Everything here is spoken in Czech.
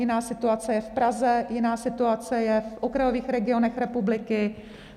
Jiná situace je v Praze, jiná situace je v okrajových regionech republiky.